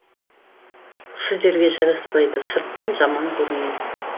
сіздерге жарасапайды сырттан жаман көрінеді